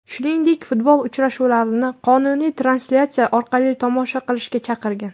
Shuningdek, futbol uchrashuvlarini qonuniy translyatsiyalar orqali tomosha qilishga chaqirgan .